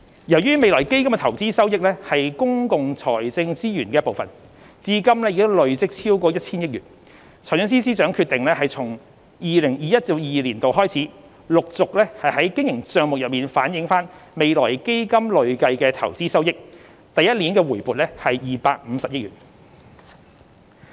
由於未來基金的投資收益是公共財政資源的一部分，至今已累積超過 1,000 億元，財政司司長決定從 2021-2022 年度開始，陸續在經營帳目中反映未來基金累計的投資收益，首年回撥250億元。